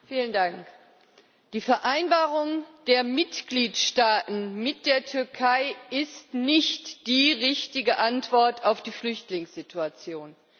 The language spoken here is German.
Frau Präsidentin! Die Vereinbarung der Mitgliedstaaten mit der Türkei ist nicht die richtige Antwort auf die Flüchtlingssituation.